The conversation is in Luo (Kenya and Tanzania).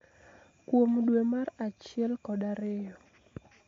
kuom dwe mar achiel kod ariyo.